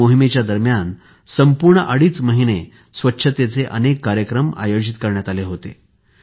या मोहिमे दरम्यान संपूर्ण अडीच महिने स्वच्छतेचे अनेक कार्यक्रम आयोजित करण्यात आले होते